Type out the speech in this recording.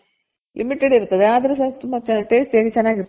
limited ಇರ್ತದೆ. ಆದ್ರೆ ತುಂಬ tasty ಯಾಗಿ ಚೆನಾಗಿರ್ತದೆ.